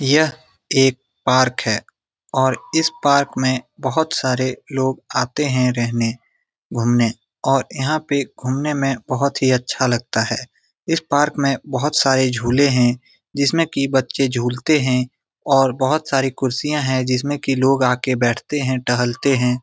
यह एक पार्क है और इस पार्क में बहुत सारे लोग आते है रहने घुमने और यहाँ पे घुमने में बहुत ही अच्छा लगता है इस पार्क में बहुत सारे झूले है जिसमे की बच्चे झूलते है और बहुत साडी कुर्सियाँ है जिसमे की लोग आके बैठते है टहलते है ।